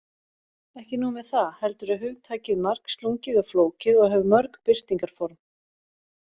Ekki nóg með það, heldur er hugtakið margslungið og flókið og hefur mörg birtingarform.